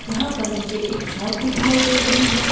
यहाँ पर मुझे एक शॉप दिखाई दे रही है।